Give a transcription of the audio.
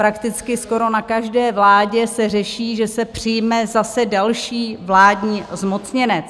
Prakticky skoro na každé vládě se řeší, že se přijme zase další vládní zmocněnec.